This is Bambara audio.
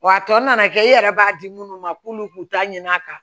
Wa a tɔ nana kɛ e yɛrɛ b'a di munnu ma k'olu k'u ta ɲina a kan